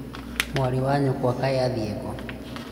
mwarĩ wa nyũkwa kaĩ athiĩ kũũ?